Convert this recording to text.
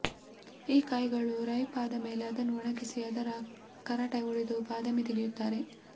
ಈ ಕಾಯಿಗಳು ರೈಪ್ ಆದಮೇಲೆ ಅದನ್ನು ಒಣಗಿಸಿ ಅದರ ಕರಟ ಒಡೆದು ಬಾದಾಮಿ ತೆಗೆಯುತ್ತಾರೆ